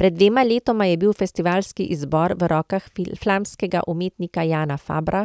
Pred dvema letoma je bil festivalski izbor v rokah flamskega umetnika Jana Fabra,